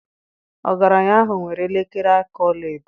Ọgaranya ahụ nwere elekere aka ọla edo